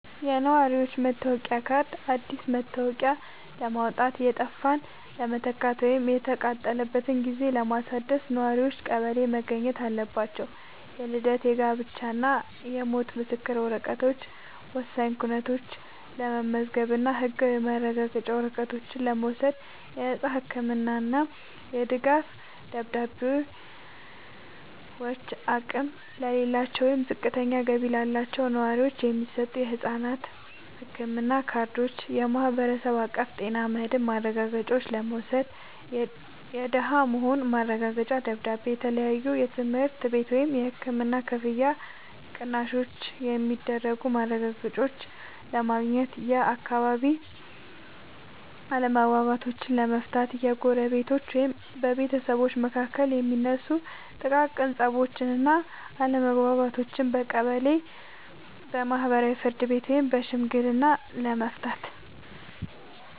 የነዋሪነት መታወቂያ ካርድ፦ አዲስ መታወቂያ ለማውጣት፣ የጠፋን ለመተካት ወይም የተቃጠለበትን ጊዜ ለማደስ ነዋሪዎች ቀበሌ መገኘት አለባቸው። የልደት፣ የጋብቻ እና የሞት ምስክር ወረቀቶች፦ ወሳኝ ኩነቶችን ለመመዝገብ እና ህጋዊ ማረጋገጫ ወረቀቶችን ለመውሰድ። የነፃ ህክምና እና የድጋፍ ደብዳቤዎች፦ አቅም ለሌላቸው ወይም ዝቅተኛ ገቢ ላላቸው ነዋሪዎች የሚሰጡ የነፃ ህክምና ካርዶችን (የማህበረሰብ አቀፍ ጤና መድህን ማረጋገጫ) ለመውሰድ። የደሃ መሆኑ ማረጋገጫ ደብዳቤ፦ ለተለያዩ የትምህርት ቤት ወይም የህክምና ክፍያ ቅናሾች የሚረዱ ማረጋገጫዎችን ለማግኘት። የአካባቢ አለመግባባቶችን ለመፍታት፦ በጎረቤቶች ወይም በቤተሰብ መካከል የሚነሱ ጥቃቅን ፀቦችን እና አለመግባባቶችን በቀበሌ የማህበራዊ ፍርድ ቤት ወይም በሽምግልና ለመፍታት።